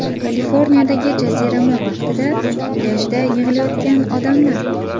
Kaliforniyadagi jazirama vaqtida plyajda yig‘ilayotgan odamlar.